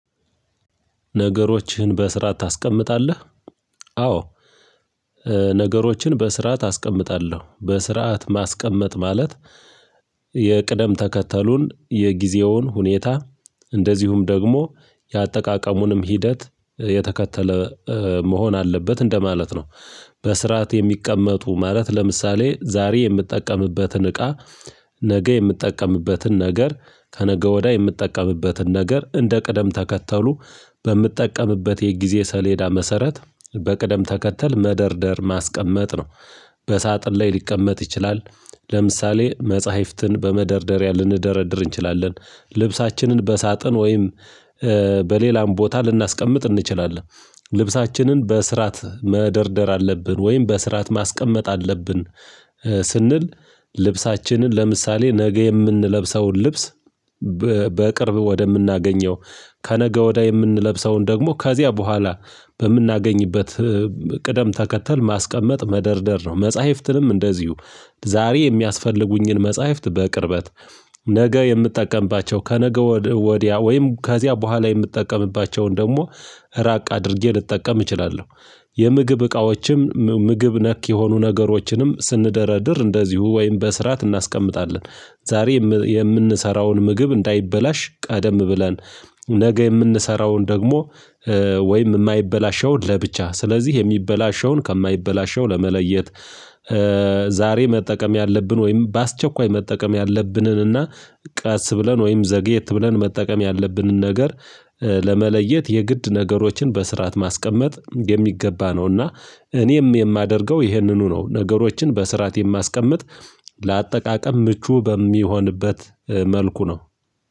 ነገሮችህን በስራ ታስቀምጣለህ? አዎ ነገሮችን በስራ አስቀምጣለሁ በስርዓት ማስቀመጥ ማለት የቅደም ተከተሉን የጊዜውን ሁኔታ እንደዚሁም ደግሞ የአጠቃቀሙንም ሂደት የተከተለ መሆን አለበት እንደማለት ነው። በስርዓት የሚቀመጡ ማለት ለምሳሌ ዛሬ የምትጠቀምበትን እቃ ነገ የምትጠቀምበትን ነገር ከነገ ወዳ የምትጠቀምበትን ነገር እንደ ቀደም ተከተሉ በምትጠቀምበት የጊዜ ሰሌዳ መሰረት በቅደም ተከተል መደርደር ማስቀመጥ ነው። በሳጥን ላይ ሊቀመጥ ይችላል ለምሳሌ መጽሐፍትን በመደርደሪያ ልንደረድር እንችላለን ልብሳችንን በሳጥን ወይም በሌላም ቦታ ልናስቀምጥ እንችላለን። ልብሳችንን በስራት መደርደር አለብን ወይም በስራት ማስቀመጥ አለብን። ስንል ልብሳችንን ለምሳሌ ነገ የምንለብሰውን ልብስ በቅርብ ወደምናገኘው ከነገ ወዳይ የምንለብሰውን ደግሞ ከዚያ በኋላ በምናገኝበት ቅደም ተከተል ማስቀመጥ መደርደር ነው። መጽሐፍትንም እንደዚሁ ዛሬ የሚያስፈልጉኝን መጽሐፍት በቅርበት ነገ የምትጠቀምባቸው ከነገ ወዲያ ወዲያ ወይም ከዚያ በኋላ የምትጠቀምባቸውን ደግሞ ራቅ አድርጌ ልጠቀም እችላለሁ። የምግብ እቃዎችም ምግብ ነክ የሆኑ ነገሮችንም ስንደረድር እንደዚሁ ወይም በስራት እናስቀምጣለን ዛሬ የምንሰራውን ምግብ እንዳይበላሽ ቀደም ብለን ነገ የምንሰራውን ደግሞ ወይም የማይበላሸውን ለብቻ ስለዚህ የሚበላሸውን ከማይበላሸው ለመለየት ዛሬ መጠቀም ያለብን ወይም በአስቸኳይ መጠቀም ያለብንንና ቀስ ብለን ወይም ዘግየት ብለን መጠቀም ያለብንን ነገር ለመለየት የግድ ነገሮችን በስርዓት ማስቀመጥ የሚገባ ነው። እና እኔም የማደርገው ይህንኑ ነው ነገሮችን በስርዓት የማስቀምጥ ለአጠቃቀም ምቹ በሚሆንበት መልኩ ነው።